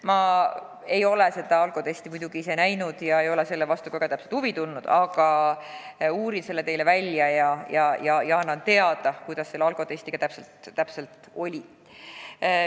Ma ei ole seda alkotesti muidugi ise näinud ega ole selle vastu ka huvi tundnud, aga uurin selle teile välja ja annan teada, kuidas sellega täpselt oli.